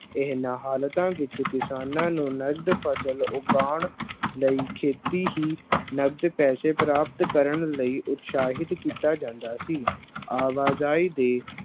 ਇਹਨਾਂ ਹਾਲਤਾਂ ਵਿੱਚ ਕਿਸਾਨਾਂ ਨੂੰ ਨਕਦ ਫਸਲ ਉਗਾਉਣ ਲਈ ਖੇਤੀ ਹੀ ਨਕਦ ਪੈਸੇ ਪ੍ਰਾਪਤ ਕਰਨ ਲਈ ਉਤਸ਼ਾਹਿਤ ਕੀਤਾ ਜਾਂਦਾ ਸੀ, ਆਵਾਜ਼ਾਈ ਦੇ